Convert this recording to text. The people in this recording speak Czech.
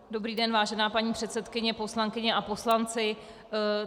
Dobrý den vážená paní předsedkyně, poslankyně a poslanci.